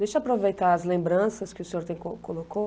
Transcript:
Deixa eu aproveitar as lembranças que o senhor tem colo colocou.